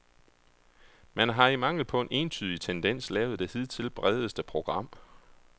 Man har i mangel på en entydig tendens lavet det hidtil bredeste program.